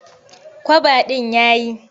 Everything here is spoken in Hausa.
Kwaba ɗin ya yi.